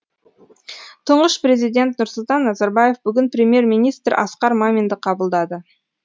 тұңғыш президент нұрсұлтан назарбаев бүгін премьер министр асқар маминді қабылдады